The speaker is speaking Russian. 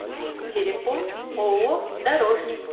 телефон ооо дорожник